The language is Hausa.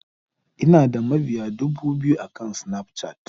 Ina da mabiya dubu biyu akan Snapchat.